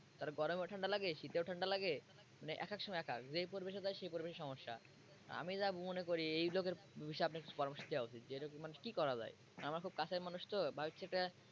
তার গরমে ঠান্ডা লাগে শীতে ঠান্ডা লাগে লাইনে মানে এক এক সময় এক এক যে পরিবেশে যায় সেই পরিবেশই সমস্যা আমি যা মনে করি এই লোকের বিষয়ে আপনার কিছু পরামর্শ দেওয়া উচিত যে এরকম মানুষ কি করা যায় আমার খুব কাছের মানুষ তো তাই হচ্ছে যে,